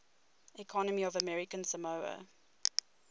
economy of american samoa